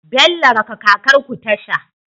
Bello raka kakar ku tasha